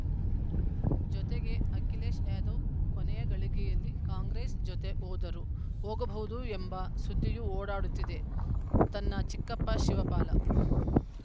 ಜೊತೆಗೆ ಅಖಿಲೇಶ್‌ ಯಾದವ್‌ ಕೊನೆಯ ಗಳಿಗೆಯಲ್ಲಿ ಕಾಂಗ್ರೆಸ್‌ ಜೊತೆ ಹೋದರೂ ಹೋಗಬಹುದು ಎಂಬ ಸುದ್ದಿಯೂ ಓಡಾಡುತ್ತಿದೆ ತನ್ನ ಚಿಕ್ಕಪ್ಪ ಶಿವಪಾಲ